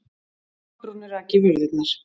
Kolbrúnu rak í vörðurnar.